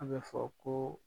An bɛ fɔ ko